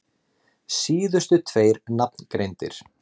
Síðustu tveir nafngreindir